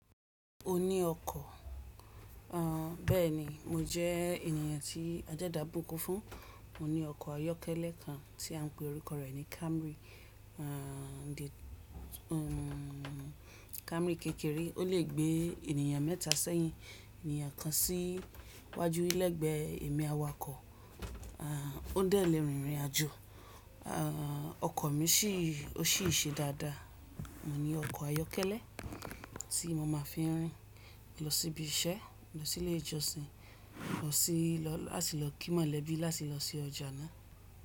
O ní ọkọ̀. A, bẹ́ẹ̀ni mo jẹ́ ènìyàn tí adẹ́dá bùkún fún. Mo ní ọkọ̀ ayọ́kẹ́lẹ́ kan tí à ń pe orúkọ rẹ̀ ní Camry. A, Camry kékeré, ó lè gbé ènìyàn mẹ́ta sẹ́yìn ènìyàn kan sí wájú lẹ́gbẹ̀ẹ́ ẹ̀mí awakọ̀, a, ó dẹ̀ le rìn ìrìnàjò. A, ọkọ̀ mi ṣì, ó ṣì ṣe dáadáa. Mo ní ọkọ̀ ayọ́kẹ́lẹ́ tí mo máa fi ń rìn lọ síbi iṣẹ́, lọ sílé ìjọsìn, lọ sí, láti lọ kí mọ̀lẹ́bí, láti lọ sí ọjà náà.